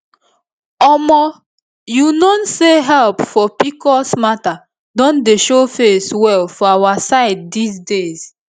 omo you known say help for pcos matter don dey show face well for our side these days